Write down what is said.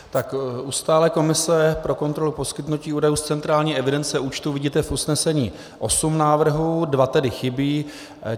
U stálé komise pro kontrolu poskytnutí údajů z centrální evidence účtů vidíte v usnesení osm návrhů, dva tedy chybí.